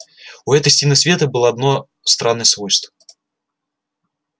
у этой стены света было одно странное свойство